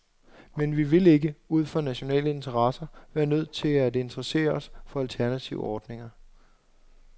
Men vi vil ikke, ud fra nationale interesser, være nødt til at interessere os for alternative ordninger.